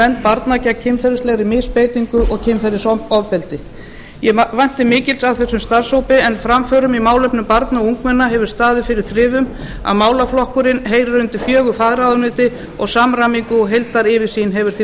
vernd barna gegn kynferðislegri misbeitingu og kynferðisofbeldi ég vænti mikils af þessum starfshópi en framförum í málefnum barna og ungmenna hefur staðið fyrir þrifum að málaflokkurinn heyrir undir fjögur fagráðuneyti og samræmingu og heildaryfirsýn hefur því